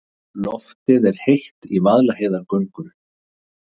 Loftið er heitt í Vaðlaheiðargöngum.